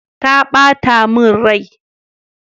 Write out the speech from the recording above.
Ta bata min rai.